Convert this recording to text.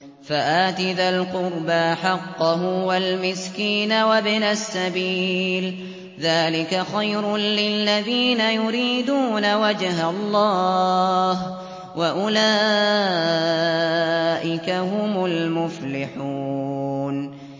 فَآتِ ذَا الْقُرْبَىٰ حَقَّهُ وَالْمِسْكِينَ وَابْنَ السَّبِيلِ ۚ ذَٰلِكَ خَيْرٌ لِّلَّذِينَ يُرِيدُونَ وَجْهَ اللَّهِ ۖ وَأُولَٰئِكَ هُمُ الْمُفْلِحُونَ